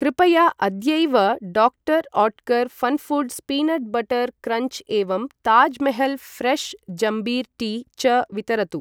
कृपया अद्यैव doctor Oetker Funfoods peanut butter crunch एवं ताज् महल् फ्रेश् जम्बीर टी च वितरतु।